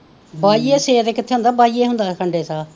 ਬਾਈਏ ਛੇ ਤੇ ਕਿੱਥੇ ਹੁੰਦਾ, ਬਾਈਏ ਹੁੰਦਾ ਖੰਡੇ ਸ਼ਾਹ,